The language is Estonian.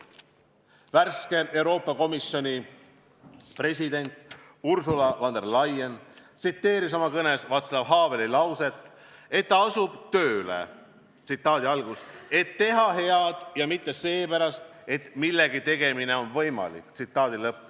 Värske Euroopa Komisjoni president Ursula von der Leyen tsiteeris oma kõnes Václav Haveli lauset, et ta asub tööle, "et teha head ja mitte seepärast, et millegi tegemine on võimalik".